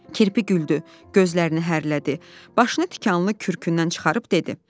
Kirpi güldü, gözlərini hərlədi, başını tikanlı kürkünnən çıxarıb dedi.